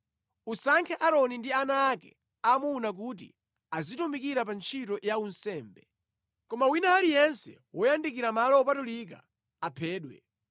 Usankhe Aaroni ndi ana ake aamuna kuti azitumikira pa ntchito ya unsembe. Koma wina aliyense woyandikira malo opatulika aphedwe.”